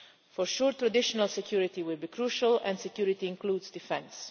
For sure, traditional security will be crucial, and security includes defence.